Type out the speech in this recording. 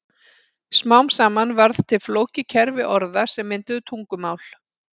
Smám saman varð til flókið kerfi orða sem mynduðu tungumál.